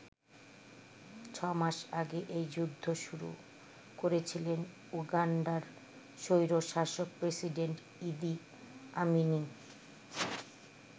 ছ মাস আগে এই যুদ্ধ শুরু করেছিলেন উগান্ডার স্বৈরশাসক প্রেসিডেন্ট ইদি আমিনই।